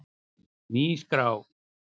Ný skrá